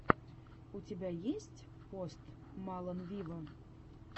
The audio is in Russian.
у тебя есть пост малон виво